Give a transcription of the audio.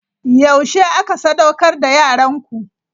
Yaushe aka sadaukar da yaranku?